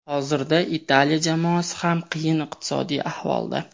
hozirda Italiya jamoasi ham qiyin iqtisodiy ahvolda.